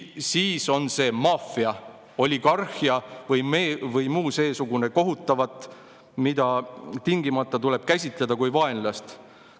Siis on see "maffia", "oligarhia" vms kohutavat, mida tingimata tuleb käsitada kui vaenlast.